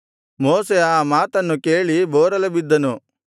ಮೋಶೆ ಆ ಮಾತನ್ನು ಕೇಳಿ ಬೋರಲುಬಿದ್ದನು